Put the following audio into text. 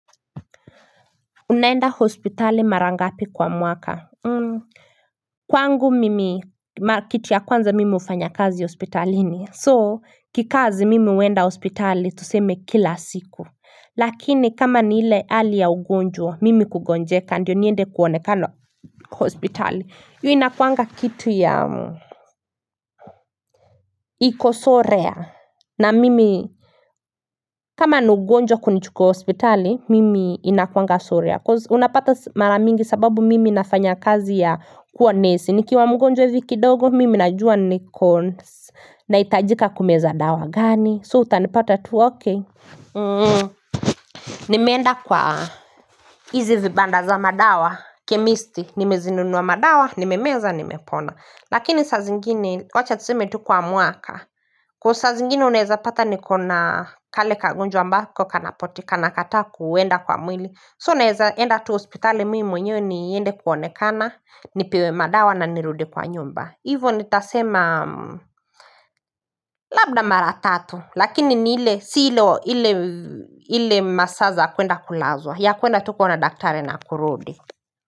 Unaenda hospitali mara ngapi kwa mwaka Kwangu mimi kitu ya kwanza mimi hufanya kazi hospitalini So kikazi mimi huenda hospitali tuseme kila siku Lakini kama ni ile hali ya ugonjwa mimi kugonjeka ndio niende kuonekana hospitali hiyo inakuanga kitu ya iko so rare na mimi kama ni ugonjwa kunichuko hospitali mimi inakuanga so rare cause unapata maramingi sababu mimi nafanya kazi ya kuwa nesi nikiwa mgonjwa hivi kidogo mimi najua niko nahitajika kumeza dawa gani So utanipata tu ok nimeenda kwa hizi vibanda za madawa Kemisti nimezinunuwa madawa, nimemeza, nimepona Lakini sa zingine wacha tuseme tu kwa mwaka cause sa zingine unaeza pata nikona kale kaugonjwa ambako kanapotikana kata kuenda kwa mwili So naeza enda tu hospitali mi mwenyewe niende kuonekana Nipewe madawa na nirudi kwa nyumba Hivo nitasema labda mara tatu Lakini ni ile si ile masaa za kuenda kulazwa ya kuenda tu kuona daktari na kurudi.